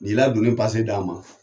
N'i la doni d'an ma.